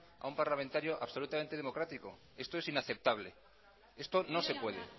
a un parlamentario absolutamente democrático esto es inaceptable esto no se puede